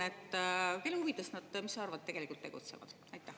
Mis sa arvad, kelle huvides nad tegelikult tegutsevad?